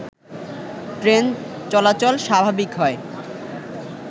train চলাচল স্বাভাবিক হয়